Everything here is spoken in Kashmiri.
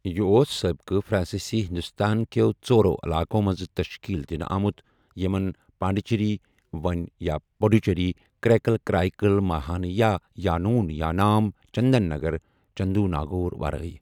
یہِ اوس سٲبقہٕ فرانسیسی ہندوستان کٮ۪و ژورو علاقو منٛزٕ تشکیٖل دِنہٕ آمُت، یمن پانڈیچیری، وۄنۍ پٗدوُچری، کریکل کرائیکل، ماہایہ تہٕ یانون یانام، چندن نگر چندرناگور ورٲے۔